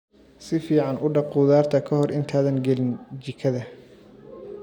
Si fiican u dhaq khudaarta ka hor intaadan gelin jikada.